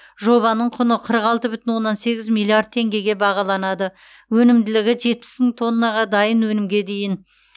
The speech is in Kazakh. жобаның құны қырық алты бүтін оннан сегіз миллиард теңгеге бағаланады өнімділігі жетпіс мың тонна дайын өнімге дейін